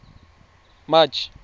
march